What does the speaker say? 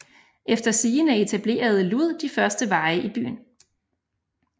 Efter sigende etablerede Lud de første veje i byen